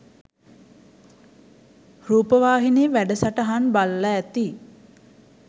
රූපවාහිනී වැඩසටහන් බලල ඇති.